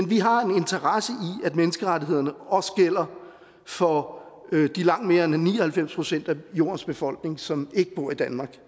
vi har en interesse i at menneskerettighederne også gælder for de langt mere end ni og halvfems procent af jordens befolkning som ikke bor i danmark